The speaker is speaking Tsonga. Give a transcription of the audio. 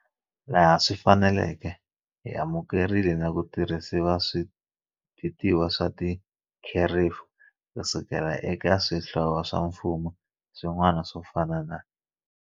Laha swi faneleke, hi amuke-rile na ku tirhisa switiviwa swa tikherefu ku suka eka swihlovo swa mfumo swin'wana swo fana na.